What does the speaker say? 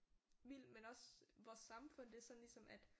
Vildt men også vores samfund det er sådan ligesom at